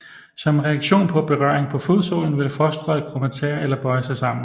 Som reaktion på berøring på fodsålen vil fostret krumme tæer eller bøje sig sammen